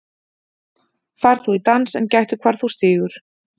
Far þú í dans en gættu hvar þú stígur.